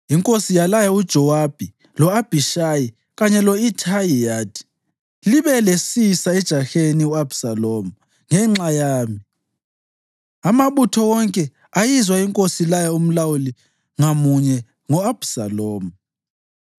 Inkosi yalaya uJowabi, lo-Abhishayi kanye lo-Ithayi yathi, “Libe lesisa ejaheni u-Abhisalomu ngenxa yami.” Amabutho wonke ayizwa inkosi ilaya umlawuli ngamunye ngo-Abhisalomu.